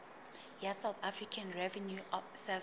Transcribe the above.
ya south african revenue service